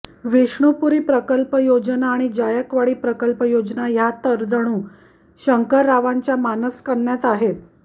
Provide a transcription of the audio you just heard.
विष्णुपुरी प्रकल्प योजना आणि जायकवाडी प्रकल्प योजना ह्या तर जणू शंकररावांच्या मानसकन्याच आहेत